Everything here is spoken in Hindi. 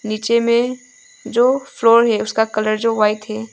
नीचे में जो फ्लोर है उसका कलर जो वाइट है।